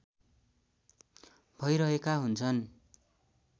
भैरहेका हुन्छन्